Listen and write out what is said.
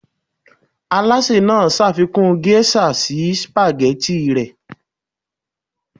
alase naa ṣafikun geisha si spaghetti rẹ